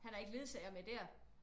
Han har ikke ledsager med der?